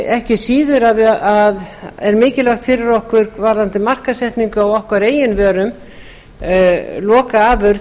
ekki síður er mikilvægt fyrir okkur varðandi markaðssetningu á okkar eigin vörum lokaafurð